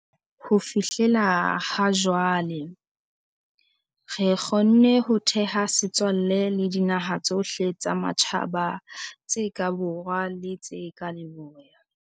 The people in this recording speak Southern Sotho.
Ho fihlela ha jwale, re kgonne ho theha setswalle le dinaha tsohle tsa matjhaba tse ka borwa le tse ka leboya.